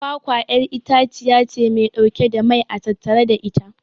kwakwa'yar itaciyace Mai dauke da mai a tattare da ita